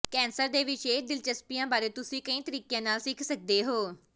cancer ਦੇ ਵਿਸ਼ੇਸ਼ ਦਿਲਚਸਪੀਆਂ ਬਾਰੇ ਤੁਸੀਂ ਕਈ ਤਰੀਕਿਆਂ ਨਾਲ ਸਿੱਖ ਸਕਦੇ ਹੋ